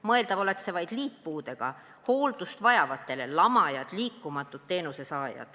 Mõeldav oleks see vaid liitpuudega hooldust vajajate puhul .